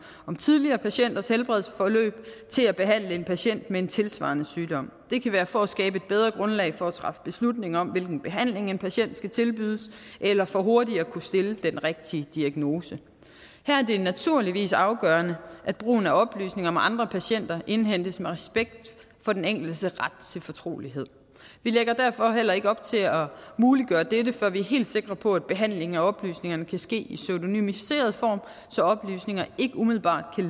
om tidligere patienters helbredsforløb til at behandle en patient med en tilsvarende sygdom det kan være for at skabe et bedre grundlag for at træffe beslutning om hvilken behandling en patient skal tilbydes eller for hurtigt at kunne stille den rigtige diagnose her er det naturligvis afgørende at brugen af oplysninger om andre patienter indhentes med respekt for den enkeltes ret til fortrolighed vi lægger derfor heller ikke op til at muliggøre dette før vi er helt sikre på at behandlingen af oplysningerne kan ske i pseudonymiseret form så oplysningerne ikke umiddelbart kan